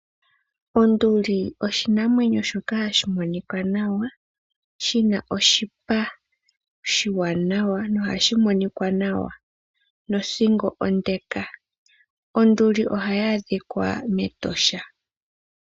Onduli oshinamwenyo shoka hashi monika nawa, shina oshipa oshiwanawa noha shimonikwa nawa nothingo ondeka. Onduli oha yadhikwa metosha.